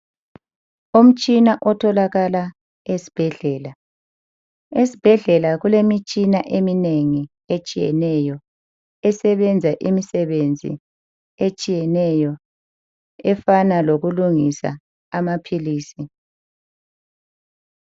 Umtshina otholakala esbhedlela. Esbhedlela kulemitshina eminengi etshiyeneyo esebenza imisebenzi etshiyeneyo efana lokulungisa amaphilisi.